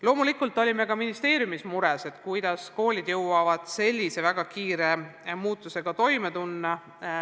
Loomulikult olime ka ministeeriumis mures, kuidas jõuavad koolid sellise väga kiire muutusega toime tulla.